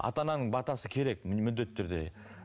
ата ананың батасы керек міндетті түрде